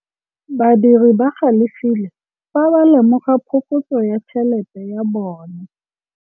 Badiri ba galefile fa ba lemoga phokotsô ya tšhelête ya bone.